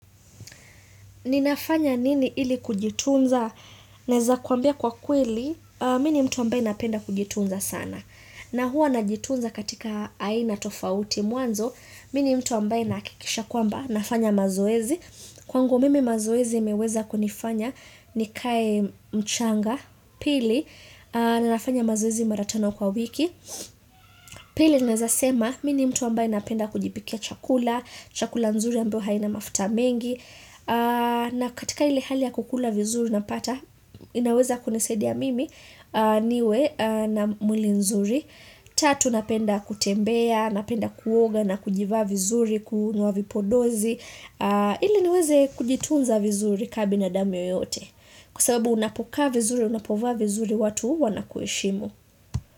Ninafanya nini ili kujitunza? Naeza kuambia kwa kweli, mimi ni mtu ambaye napenda kujitunza sana, na hua najitunza katika aina tofauti. Mwanzo, mimi ni mtu ambaye nahakikisha kwamba, nafanya mazoezi, kwangu mimi mazoezi imeweza kunifanya nikae mchanga, pili, na nafanya mazoezi mara tano kwa wiki, pili naeza sema, mimi ni mtu ambaye napenda kujipikia chakula, chakula nzuri ambao haina mafuta mengi, na katika ile hali ya kukula vizuri napata inaweza kunisaidia mimi niwe na mwili nzuri Tatu napenda kutembea, napenda kuoga na kujivaa vizuri, kunywa vipodozi Iii niweze kujitunza vizuri ka binadamu yoyote. Kwa sababu unapokaa vizuri, unapovaa vizuri watu uwa na kueshimu.